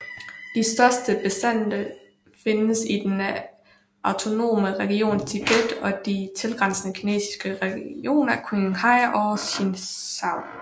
De største bestande findes i den autonome region Tibet og de tilgrænsende kinesiske regioner Qinghai og Sichuan